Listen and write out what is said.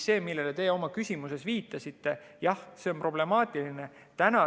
See, millele te oma küsimuses viitasite, jah, on problemaatiline.